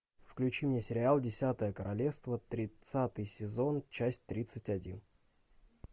включи мне сериал десятое королевство тридцатый сезон часть тридцать один